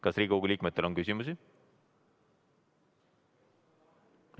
Kas Riigikogu liikmetel on küsimusi?